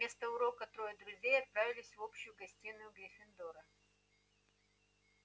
вместо урока трое друзей отправились в общую гостиную гриффиндора